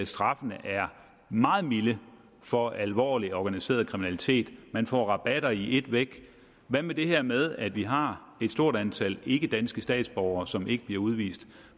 straffene er meget milde for alvorlig organiseret kriminalitet man får rabatter i ét væk hvad med det her med at vi har et stort antal ikkedanske statsborgere som ikke bliver udvist